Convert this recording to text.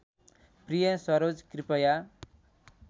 प्रिय सरोज कृपया